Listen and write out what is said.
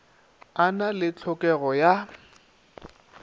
a na le hlokego ya